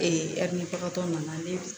nana ne